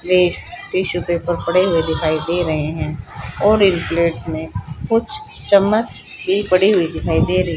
tissue paper पड़े हुए दिखाई दे रहे हैं और इन प्लेट्स में कुछ चम्मच भी पड़ी हुई दिखाई दे र--